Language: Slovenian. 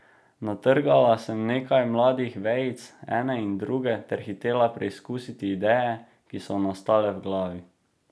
Natrgala sem nekaj mladih vejic ene in druge ter hitela preizkusit ideje, ki so nastale v glavi.